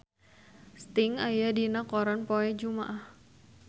Sting aya dina koran poe Jumaah